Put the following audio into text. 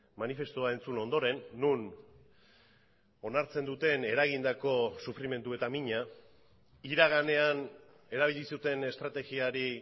manifestua entzun ondoren non onartzen duten eragindako sufrimendu eta mina iraganean erabili zuten estrategiari